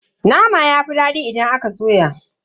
Nama yafi dadi idan aka soya.